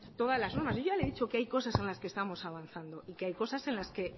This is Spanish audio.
todas las normas yo ya le he dicho que hay cosas en la que estamos avanzando y que hay cosas en las que